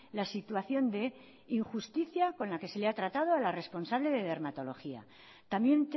la situación de injusticia con la que se le ha tratado a la responsable de dermatología también